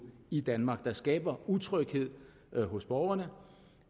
i danmark det skaber utryghed hos borgerne